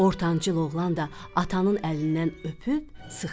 Ortancıl oğlan da atanın əlindən öpüb sıxdı.